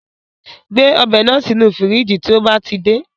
Gbé ọbẹ̀ náà sì inú fíríjí tí ó bá ti dé